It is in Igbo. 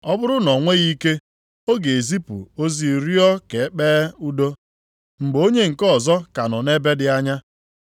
Ọ bụrụ na o nweghị ike, ọ ga-ezipụ ozi rịọ ka e kpee udo mgbe onye nke ọzọ ka nọ nʼebe dị anya.